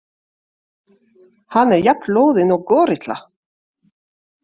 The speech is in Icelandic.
Hann er jafn loðinn og górilla.